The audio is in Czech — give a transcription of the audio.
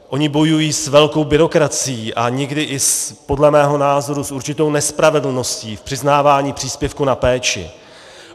Oni bojují s velkou byrokracií a někdy i podle mého názoru s určitou nespravedlností v přiznávání příspěvku na péči.